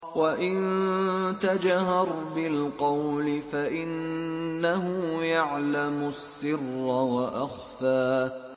وَإِن تَجْهَرْ بِالْقَوْلِ فَإِنَّهُ يَعْلَمُ السِّرَّ وَأَخْفَى